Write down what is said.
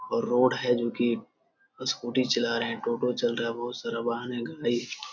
road है जो की स्कूटी चला रहे हैं टोटो चल रहा है बहुत सारा वाहन है गाड़ी --